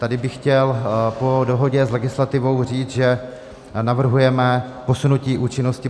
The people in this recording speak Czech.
Tady bych chtěl po dohodě s legislativou říct, že navrhujeme posunutí účinnosti.